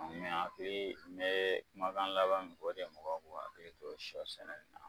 Mais a be n be kumakan laban min fɔ o de mogow k'o akili to sɔ sɛnɛ in na